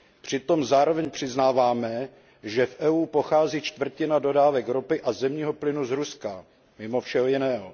Přitom zároveň přiznáváme, že v EU pochází čtvrtina dodávek ropy a zemního plynu z Ruska, mimo všeho jiného.